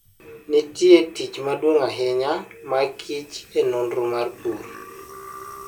Nitie tich maduong' ahinya ma kich e nonro mar pur.